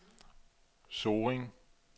Sorring